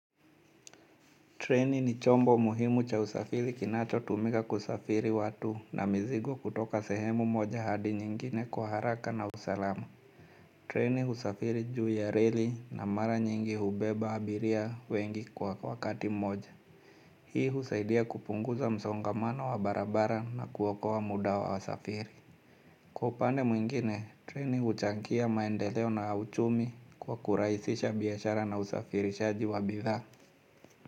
Treni ni chombo muhimu cha usafiri kinacho tumika kusafiri watu na mizigo kutoka sehemu moja hadi nyingine kwa haraka na usalama. Treni usafiri juu ya reli na mara nyingi hubeba abiria wengi kwa wakati moja. Hii husaidia kupunguza msongamano wa barabara na kuokoa wa muda wa wasafiri. Kwa upande mwingine, treni uchangia maendeleo na uchumi kwa kurahisisha biashara na usafirishaji wa bidhaa.